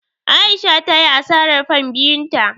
A'isha ta yi asarar fan biyun ta.